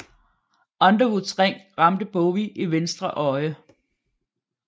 Underwoods ring ramte Bowie i venstre øje